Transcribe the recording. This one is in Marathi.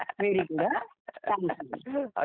laughs व्हेरी गुड हा चांगला केलस